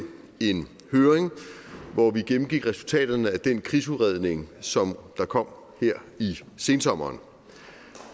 en høring hvor vi gennemgik resultaterne af den krigsudredning som der kom her i sensommeren